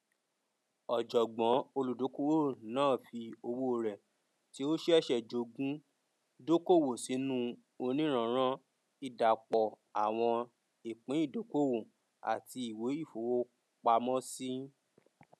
ọjọgbọn olùdókòwò náà fi owó rẹ tí ó ṣẹṣẹ jogún dókòwò sínú onírànran ìdàpọ àwọn ìpín ìdókòwò àti ìwé ìfowópamọsí